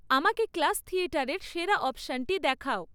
আমাকে ক্লাস থিয়েটারের সেরা অপশনটি দেখাও